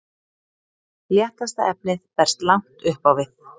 léttasta efnið berst langt upp á við